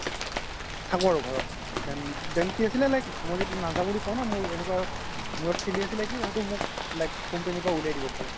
থাকো আৰু ঘৰত কি আছিলে like মই য্দি নাজাও বুলি কও ন মোৰ এনেকুৱা মোৰত খেলি আছিলে কি হয়তো মোক company ৰ পৰা উলিয়াই দিব পাৰে